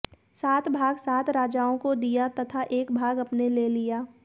सात भाग सात राजाओं को दिया तथा एक भाग अपने ले लिया